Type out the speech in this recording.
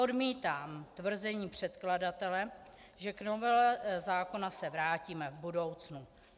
Odmítám tvrzení předkladatele, že k novele zákona se vrátíme v budoucnu.